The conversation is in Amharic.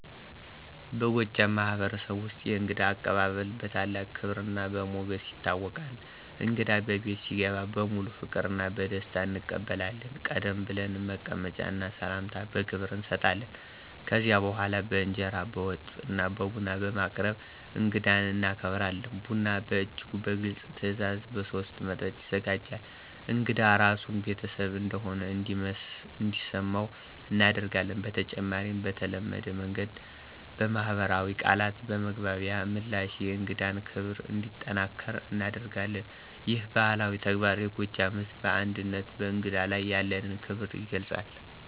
በጎጃም ማህበረሰብ ውስጥ የእንግዳ አቀባበል በታላቅ ክብርና በሞገስ ይታወቃል። እንግዳ በቤት ሲገባ በሙሉ ፍቅርና በደስታ እንቀበላለን፣ ቀደም ብለን መቀመጫ እና ሰላምታ በክብር እንሰጣለን። ከዚያ በኋላ በእንጀራ፣ በወጥ እና ቡና በማቅረብ እንግዳን እናከብራለን። ቡና በእጅጉ በግልጽ ትዕዛዝ በሶስት መጠጥ ይዘጋጃል፣ እንግዳ ራሱን ቤተሰብ እንደሆነ እንዲሰመው እናደርጋለን። በተጨማሪም በተለመደ መንገድ በማኅበራዊ ቃላትና በመግባቢያ ምላሽ የእንግዳን ክብር እንዲጠናከር እናደርጋለን። ይህ ባህላዊ ተግባር የጎጃም ሕዝብ አንድነትና በእንግዳ ላይ ያለንን ክብር ይገልጻል።